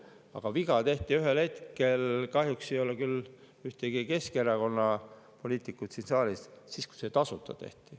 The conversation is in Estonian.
Aga viga tehti sel hetkel – kahjuks ei ole ühtegi Keskerakonna poliitikut siin saalis –, kui tehti nii, et see on tasuta.